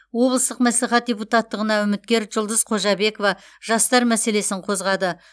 облыстық мәслихат депутаттығына үміткер жұлдыз қожабекова жастар мәселесін қозғады